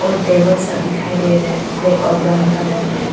और टेबल सब दिखाई दे रहा है और ब्राउन कलर में।